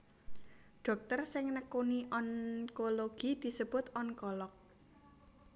Dhokter sing nekuni onkologi disebut onkolog